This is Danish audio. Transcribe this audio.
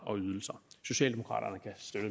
og ydelser socialdemokraterne